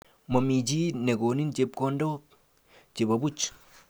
Momii chi nekonin chepkondok chebo buch.